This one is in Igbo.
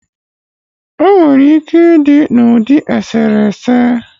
Onwere ike ịdị n'ụdị eserese